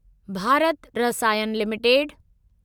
Bharat Rasayan limited